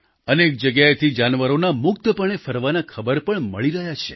અનેક જગ્યાએથી જાનવરોના મુક્તપણે ફરવાના ખબર પણ ખબર મળી રહ્યા છે